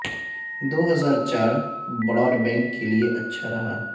دو ہزار چار broadband کے لیے اچھا رہا